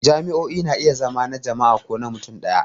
Jami'o'i na iya zama na jama'a ko na mutum ɗaya.